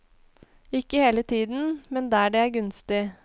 Ikke hele tiden, men der det er gunstig.